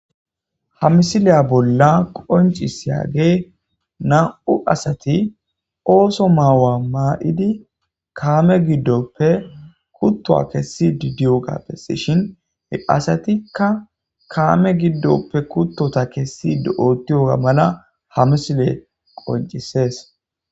ha misiliya bolla qoncisyage na7u asati ooso ma'wa mayidi kaame giddoppe kuttuwa kessidi diyogape asatikka kaame giddoppe kuttota kessidi ootiyoga mala ha misile qoncisees